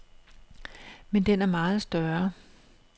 Men den er meget større.